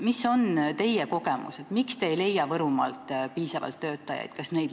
Mis on teie kogemused – miks te ei leia Võrumaalt piisavalt töötajaid?